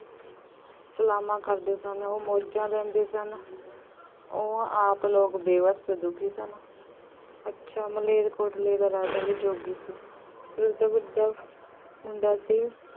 ਸਲਾਮਾਂ ਕਰਦੇ ਸਨ। ਉਹ ਮੌਜਾਂ ਲੈਂਦੇ ਸਨ। ਉਹ ਆਪ ਲੋਕ ਬੇਵੱਸ ਅਤੇ ਦੁਖੀ ਸਨ। ਅੱਛਾ ਮਲੇਰਕੋਟਲੇ ਦਾ ਰਾਜਾ ਵੀ ਯੋਗੀ ਸੀ। ਉਸਦਾ ਵੱਡਾ ਮੁੰਡਾ ਸੀ